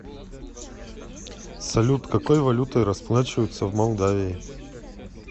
салют какой валютой расплачиваются в молдавии